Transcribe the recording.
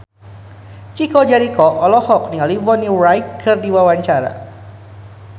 Chico Jericho olohok ningali Bonnie Wright keur diwawancara